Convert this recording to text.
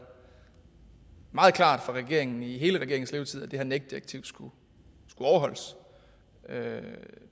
meget klart for regeringen i hele regeringens levetid at det her nec direktiv skulle overholdes